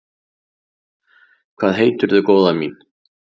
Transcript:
Hvað heitirðu, góða mín?